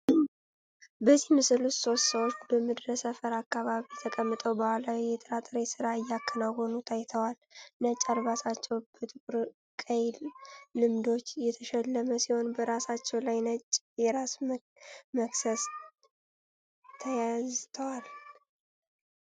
በዚህ ምስል ውስጥ ሶስት ሰዎች በምድረ ሰፈር አካባቢ ተቀምጠው ባህላዊ የጥራጥሬ ሥራ እየከናወኑ ታይተዋል። ነጭ አልባሳቸው በጥቁርና ቀይ ልምዶች የተሸለመ ሲሆን በራሳቸው ላይ ነጭ የራስ መክሰስ ተያዝቷል።